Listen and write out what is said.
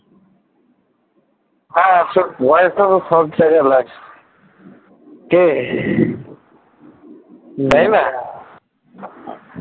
হ্যাঁ আজকাল পয়সা তো সব জায়গায় লাগছে কে তাইনা?